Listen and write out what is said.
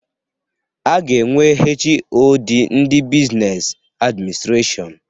A ga-enwe HoD ndị Buzines Administrashọn.